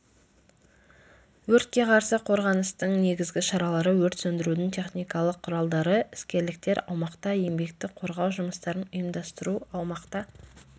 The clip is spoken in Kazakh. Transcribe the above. өртке қарсы қорғаныстың негізгі шаралары өрт сөндірудің техникалық құралдары іскерліктер аумақта еңбекті қорғау жұмыстарын ұйымдастыру аумақта